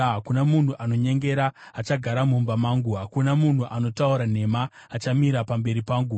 Hakuna munhu anonyengera achagara mumba mangu; hakuna munhu anotaura nhema achamira pamberi pangu.